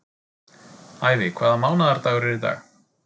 Ævi, hvaða mánaðardagur er í dag?